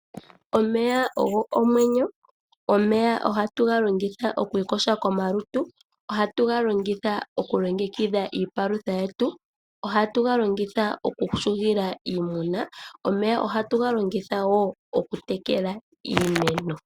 Omeya ogo omwenyo. Omeya ohatu ga longitha oku ikosha komalutu, ohatu ga longitha oku longekidha iipalutha yetu, ohatu ga longitha oku shugila iimuna, omeya ohatu ga longitha wo okutekela iimeno.